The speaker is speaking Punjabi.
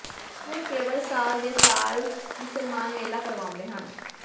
ਹੁਣ ਕੇਵਲ ਸਾਲ ਦੇ ਸਾਲ ਮੁਸਲਮਾਨ ਮੇਲਾ ਕਰਵਾਉਂਦੇ ਹਨ